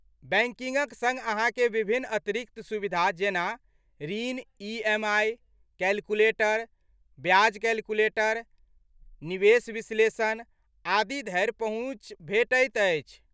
बैंकिंगक सङ्ग अहाँकेँ विभिन्न अतिरिक्त सुविधा जेना ऋण ई. एम. आइ. कैलकुलेटर, ब्याज कैलकुलेटर, निवेश विश्लेषण आदि धरि पहुँच भेटैत अछि।